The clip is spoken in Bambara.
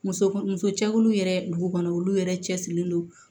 Muso muso cɛkuluw yɛrɛ dugu kɔnɔ olu yɛrɛ cɛ sirilen don